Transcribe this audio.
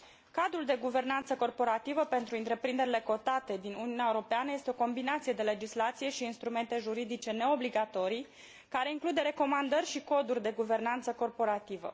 Cadrul de guvernanță corporativă pentru întreprinderile cotate din Uniunea Europeană este o combinație de legislație și instrumente juridice neobligatorii, care include recomandări și coduri de guvernanță corporativă.